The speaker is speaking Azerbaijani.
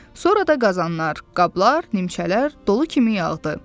Sonra da qazanlar, qablar, nimçələr dolu kimi yağdı.